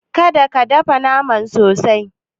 Kada ka dafa naman sosai.